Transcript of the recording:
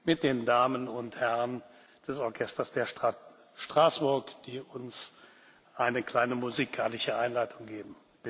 mit den Damen und Herren des Orchesters der Stadt Straßburg, die uns eine kleine musikalische Einleitung geben.